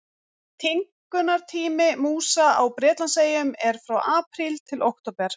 Tímgunartími músa á Bretlandseyjum er frá apríl til október.